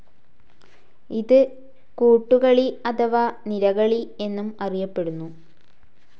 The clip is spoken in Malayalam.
ഇത് കൂട്ടുകളി അഥവാ നിരകളി എന്നും അറിയപ്പെടുന്നു.